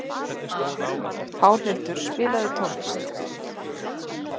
Pálhildur, spilaðu tónlist.